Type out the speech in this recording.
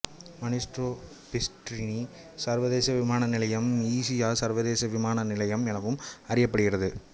மினிஸ்ட்ரோ Pistarini சர்வதேச விமான நிலையம் ஈஜீசா சர்வதேச விமான நிலையம் எனவும் அறியப்படுகிறது